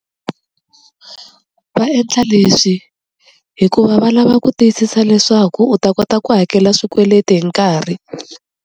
Va endla leswi hikuva va lava ku tiyisisa leswaku u ta kota ku hakela swikweleti hi nkarhi.